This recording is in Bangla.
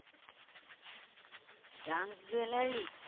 junk jewellery